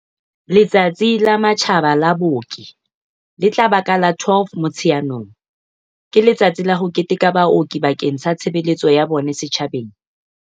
Letsatsi la Matjhaba la Booki, le tla ba ka la 12 Motsheanong, ke letsatsi la ho keteka baoki bakeng sa tshebeletso ya bona setjhabeng.